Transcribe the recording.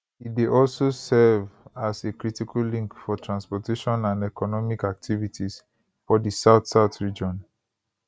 e dey also serve as a critical link for transportation and economic activities for di southsouth region